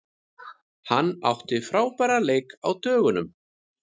Hann átti frábæran leik á dögunum.